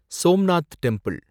Somnath temple